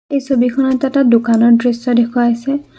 এই ছবিখনত এটা দোকানৰ দৃশ্য দেখুওৱা হৈছে।